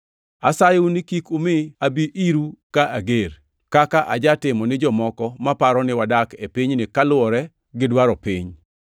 Asayou ni kik umi abi iru ka ager, kaka ajatimo ni jomoko maparo ni wadak e pinyni kaluwore gi dwaro piny.